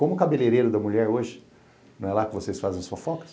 Como o cabeleireiro da mulher hoje não é lá que vocês fazem as fofocas?